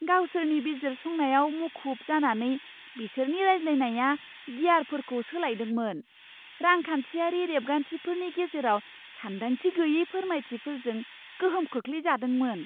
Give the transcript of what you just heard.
गावसोरनि बिजिरसंनायाव मुखुब जानानै, बिसोरनि रायज्लायनाया गियारफोरखौ सोलायदोंमोन, रांखान्थियारि रेबगान्थिफोरनि गेजेराव सानदांथि गैयै फोरमायथिफोरजों गोहोम खोख्लैजादोंमोन।